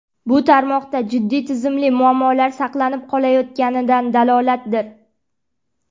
Bu tarmoqda jiddiy tizimli muammolar saqlanib qolayotganidan dalolatdir.